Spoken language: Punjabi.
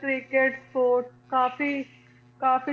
ਤਰੀਕੇ ਹੋਰ ਕਾਫ਼ੀ, ਕਾਫ਼ੀ